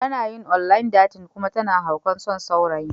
Tana yin online dating kuma tana haukan son saurayin.